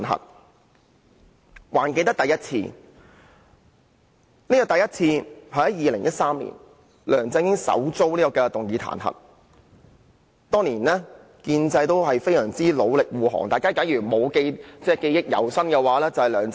我還記得第一次彈劾是在2013年發生的，梁振英首次遭議員提出彈劾議案，當年建制派議員亦同樣努力護航。